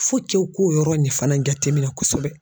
k'o yɔrɔ in fana jate minɛ kosɛbɛ.